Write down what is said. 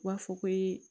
U b'a fɔ ko ee